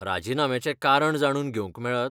राजिनाम्याचें कारण जाणून घेवंक मेळत?